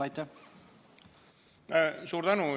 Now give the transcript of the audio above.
Suur tänu!